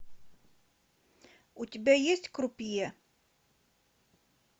у тебя есть крупье